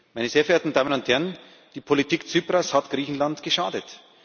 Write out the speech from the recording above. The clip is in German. Meine sehr verehrten Damen und Herren, Tsiprasˊ Politik hat Griechenland geschadet.